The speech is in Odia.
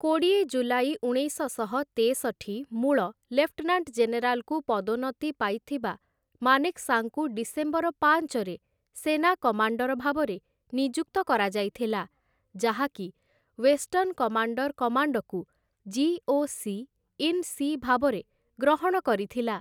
କୋଡ଼ିଏ ଜୁଲାଇ ଉଣେଇଶଶହ ତେଷଠି ମୂଳ ଲେଫ୍ଟନାଣ୍ଟ-ଜେନେରାଲକୁ ପଦୋନ୍ନତି ପାଇଥିବା ମାନେକ୍‌ଶାଙ୍କୁ ଡିସେମ୍ବର ପାଞ୍ଚରେ ସେନା କମାଣ୍ଡର ଭାବରେ ନିଯୁକ୍ତ କରାଯାଇଥିଲା, ଯାହା କି ୱେଷ୍ଟର୍ଣ୍ଣ କମାଣ୍ଡର କମାଣ୍ଡକୁ 'ଜି.ଓ.ସି. ଇନ୍‌ ସି' ଭାବରେ ଗ୍ରହଣ କରିଥିଲା ।